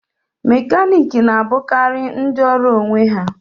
Mekaniki na-abụkarị ndị ọrụ onwe ha